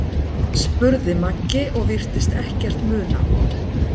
spurði Maggi og virtist ekkert muna.